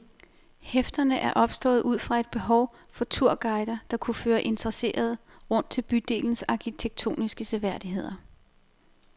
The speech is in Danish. Hæfterne er opstået ud fra et behov for turguider, der kunne føre interesserede rundt til bydelens arkitektoniske seværdigheder.